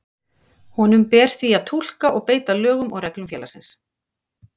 Honum ber því að túlka og beita lögum og reglum félagsins.